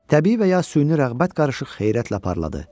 Təbii və ya süni rəğbət qarışıq xeyrətlə parladı.